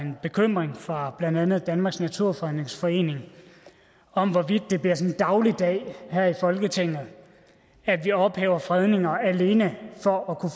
en bekymring fra blandt andet danmarks naturfredningsforening om hvorvidt det bliver dagligdag her i folketinget at vi ophæver fredninger alene for at kunne